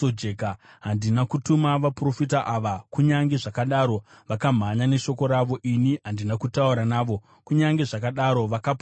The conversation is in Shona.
Handina kutuma vaprofita ava, kunyange zvakadaro vakamhanya neshoko ravo; ini handina kutaura navo, kunyange zvakadaro vakaprofita.